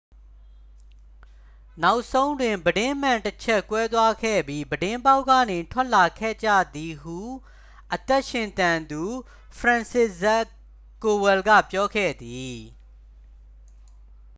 နောက်ဆုံးတွင် ပြတင်းမှန်တစ်ချပ် ကွဲသွားခဲ့ပြီး ပြတင်းပေါက်ကနေ ထွက်လာခဲ့ကြသည် ဟု အသက်ရှင်သန်သူ ဖရန်စစ်ဇခ် ကိုဝယ်လ်က ပြောခဲ့သည်